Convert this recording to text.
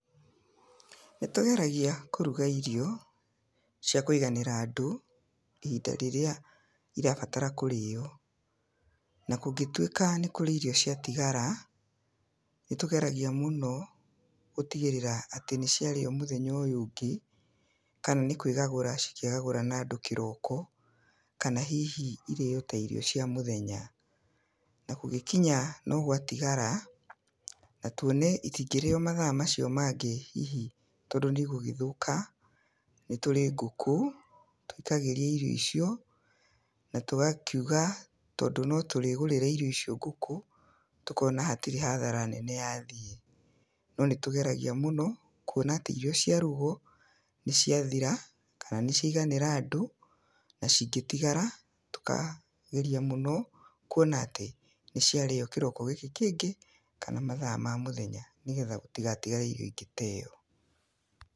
Nĩ tũgeragia kũruga irio cia kũiganĩra andũ, ihinda rĩrĩa irabatara kũrĩo, na kũngĩtuĩka nĩ kũrĩ irio ciatigara, nĩ tũgeragia mũno gũtigĩrĩra atĩ nĩ ciarĩyo mũthenya ũyũ ũngĩ, kana nĩ kwĩgagũra cikegagũra nandũ kĩroko, kana hihi irĩo ta irio cia mũthenya, na kũngĩkinya no gwatigara, na tuone itingĩrĩo mathaa macio mangĩ, hihi tondũ nĩ igũgĩthũka, nĩ tũrĩ ngũkũ, tũikagĩria irio icio, na tũgakiuga tondũ no tũrĩgũrĩra irio icio ngũkũ, tũkona hatirĩ hathara nene yathiĩ. No nĩ tugeragia mũno kuona atĩ irio ciarugwo nĩ ciathira, kana nĩ ciaiganĩra andũ, na cingĩtigara, tũkageria mũno kuona atĩ nĩ ciarĩyo kĩroko gĩkĩ kĩngĩ, kana mathaa ma mũthenya nĩgetha gũtigatigare irio ingĩteyo.